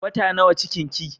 Wata nawa cikin ki?